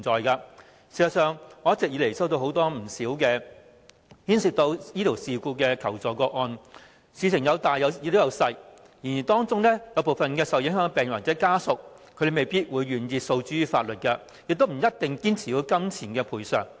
事實上，我一直以來曾接獲不少牽涉醫療事故的求助個案，事情性質有輕有重，當中部分受影響病人或家屬未必願意訴諸法律，亦不一定堅持要有金錢賠償。